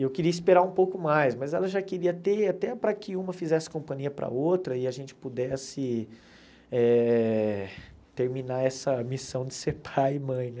E eu queria esperar um pouco mais, mas ela já queria ter até para que uma fizesse companhia para a outra e a gente pudesse eh terminar essa missão de ser pai e mãe, né?